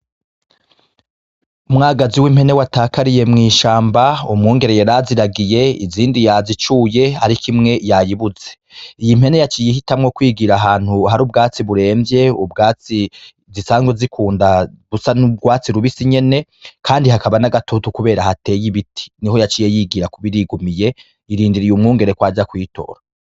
Umwagazi w'impene watakariye mw'ishamba umwungere yaraziragiye izindi yazicuye, ariko imwe yayibuze iyi impene yaciye ihitamwo kwigira ahantu hari ubwatsi buremvye ubwatsi zisanzwe zikunda busa n'ubwatsi rubisi nyene, kandi hakaba n'agatutu, kubera hateye ibiti ni ho yaciye yigira kuba irigumiye irindiriye umwungere kw aja kuyitora.